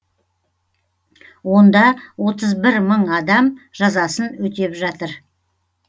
онда отыз бір мың адам жазасын өтеп жатыр